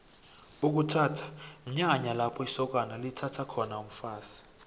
ukuthatha mnyanya lapho isokana lithatha khona umfazi